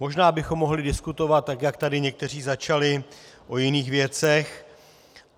Možná bychom mohli diskutovat, tak jak tady někteří začali, o jiných věcech.